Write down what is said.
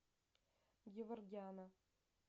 геворгяна